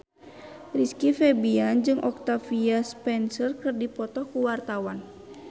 Rizky Febian jeung Octavia Spencer keur dipoto ku wartawan